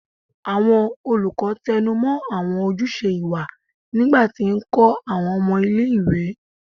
Awọn olukọ tẹnumọ awọn ojuse iwa nigba ti nkọ awọn ọmọ ile-iwe